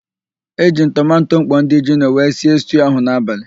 E jiri m tomanto mkpọ ndị jino wee sie stuu ahụ n'abalị.